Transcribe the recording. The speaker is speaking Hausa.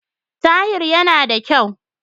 Tahir yana yana da kyau.